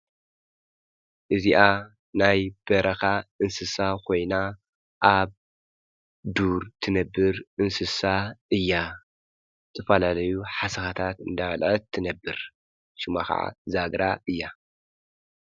እዚኣ ናይ በረኻ እንስሳ ኾይና ኣብ ዱር ትነብር እንስሳ እያ ዝተፈላለዩ ሓሳኻታት እንዳበለአት ትነብር ሹማ ኸዓ ዛግራ እያ።